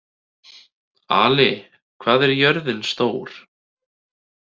Ali, hvað er jörðin stór?